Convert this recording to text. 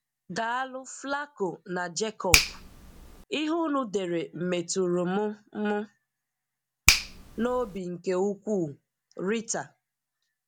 Daalụ Flaco na jacobp, ihe unu dere metụrụ m m n’obi nke ukwuu. Rita